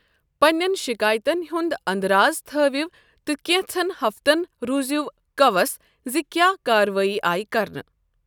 پننین شِكایتن ہٗند اندرازِ تھٲوِو تہٕ كینژن ہفتن روٗزِیو كَوَس زِ كیاہ كاروٲیی آیہ كرنہٕ ۔